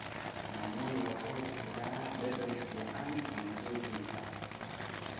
Yaanyada waxay bixisaa dhadhan fiican cuntooyinka.